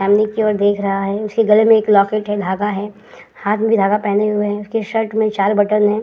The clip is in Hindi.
सामने की ओर देख रहा है। उसके गले में एक लॉकेट है। धागा है। हाथ में भी धागा पहने हुए है। उसके शर्ट में चार बटन है।